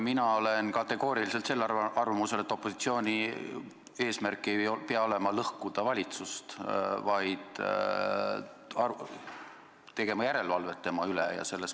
Mina olen raudselt arvamusel, et opositsiooni eesmärk ei pea olema lõhkuda valitsust, vaid teha järelevalvet tema tegevuse üle.